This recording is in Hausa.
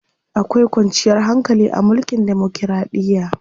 Akwai kwanciyar hankali a mulkin demokiraɗiya.